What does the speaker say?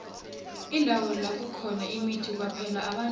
indawo lakukhona imithi kwaphela abantu